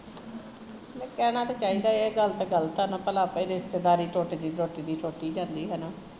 ਤੇ ਕਹਿਣਾ ਤਾਂ ਚਾਹੀਦਾ ਐ ਏਹ ਗੱਲ ਤਾਂ ਗਲਤ ਐ ਨਾ ਭਲਾ ਆਪਨੀ ਰਿਸਤੇਦਾਰੀ ਟੁੱਟਦੀ ਟੁੱਟਦੀ ਟੁੱਟ ਹੀਂ ਜਾਂਦੀ ਹੈਨਾ